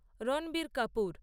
Ranbir Kapoor